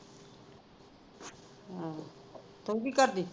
ਹਮ ਤੂੰ ਕੀ ਕਰਦੀ